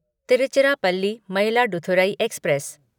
Tiruchirappalli Mayiladuthurai express